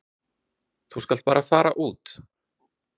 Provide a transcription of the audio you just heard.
Þú skalt bara fara út.